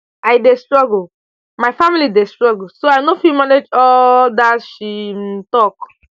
i dey struggle my family dey struggle so i no fit manage all um dat she um tok